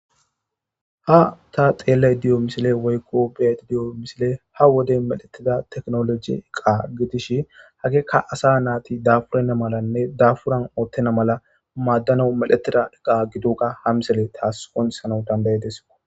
Ha ta xelayida dio missile woykko beayida dio missile ha wode medhetida techinoloje eqa gidishin hegeka asa nati dafurena malane dafuran otena mala madanawu medhetida eqa gidoga ha missile tas qonchisanawu dandaides.